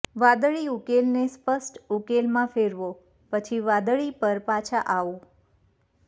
વાદળી ઉકેલને સ્પષ્ટ ઉકેલમાં ફેરવો પછી વાદળી પર પાછા આવો